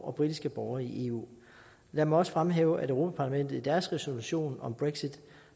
og britiske borgere i eu jeg må også fremhæve at europa parlamentet i deres resolution om brexit